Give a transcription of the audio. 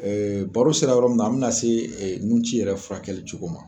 Ɛɛ baro sera yɔrɔ min na an be na se e nun ci yɛrɛ furakɛli cogo ma